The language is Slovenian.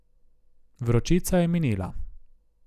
Vročica je minila.